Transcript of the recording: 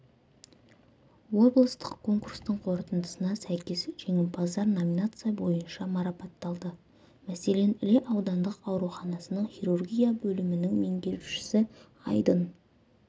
облыстық конкурстың қорытындысына сәйкес жеңімпаздар номинация бойынша марапатталды мәселен іле аудандық ауруханасының хирургия бөлімінің меңгерушісі айдын